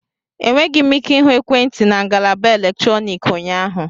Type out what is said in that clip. Enweghị m ike ịhụ ekwentị na ngalaba eletrọnịkị ụnyaahụ